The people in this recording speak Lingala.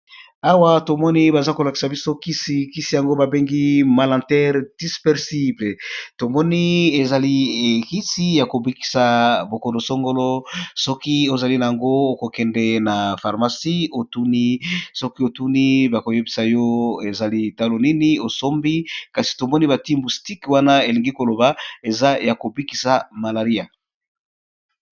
Awa tomoni baza ko lakisa biso kisi, kisi yango ba bengi malintere dispersible tomoni ezali ekisi ya ko bikisa bokono songolo soki ozali na yango okokende na pharmacie otuni soki otuni bako yebisa yo ezali talo nini osombi kasi tomoni bati mustike wana elingi koloba eza ya kobikisa malaria.